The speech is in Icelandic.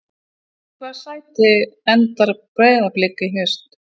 Í hvaða sæti endar Breiðablik í haust?